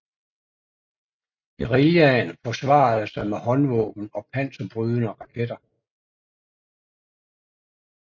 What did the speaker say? Guerillaen forsvarede sig med håndvåben og panserbrydende raketter